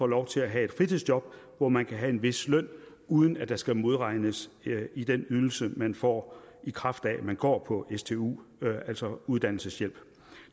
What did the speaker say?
lov til at have et fritidsjob hvor man kan have en vis løn uden at der skal modregnes i den ydelse man får i kraft af at man går på stu altså uddannelseshjælp